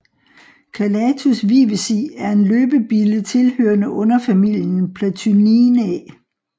Calathus vivesi er en løbebille tilhørende underfamilien Platyninae